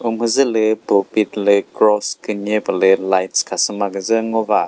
umhüzülü pulpit lü cross künye pülü lights khasüma küzü ngo va.